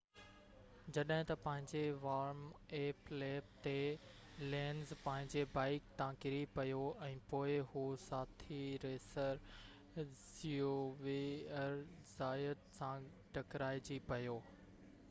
جڏهن ته پنهنجي وارم-اپ ليپ تي لينز پنهنجي بائيڪ تان ڪري پيو ۽ پوءِ هو ساٿي ريسر زيويئر زايت سان ٽڪرائجي پيو